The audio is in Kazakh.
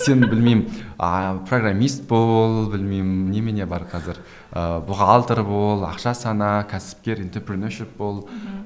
сен білмеймін а программист бол білмеймін немене бар қазір ыыы бухалтер бол ақша сана кәсіпкер бол мхм